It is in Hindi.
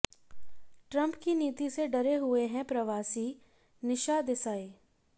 ट्रंप की नीति से डरे हुए हैं प्रवासीः निशा देसाई